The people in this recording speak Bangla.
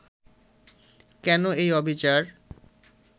কেন এই অবিচার